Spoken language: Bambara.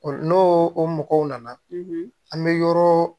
N'o o mɔgɔw nana an bɛ yɔrɔ